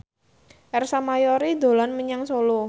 Ersa Mayori dolan menyang Solo